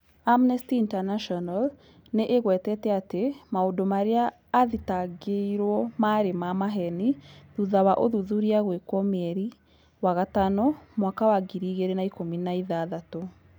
Amnesty International nĩ ĩgwetete atĩ maũndũ marĩa athitangĩirwo maarĩ ma maheeni thutha wa ũthuthuria gwĩkwo mweri wa gatano mwaka wa ngiri igĩrĩ na ikũmi na ithathatũ.